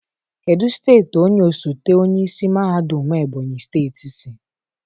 Kedu steeti onye osote onye isi mahadum Ebonyi steeti si?